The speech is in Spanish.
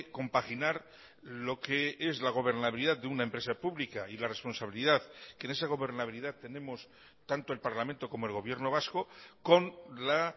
compaginar lo que es la gobernabilidad de una empresa pública y la responsabilidad que en esa gobernabilidad tenemos tanto el parlamento como el gobierno vasco con la